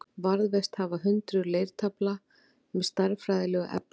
Varðveist hafa hundruð leirtaflna með stærðfræðilegu efni.